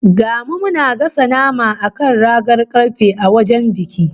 Ga mu muna gasa nama a kan ragar karfe a wajen biki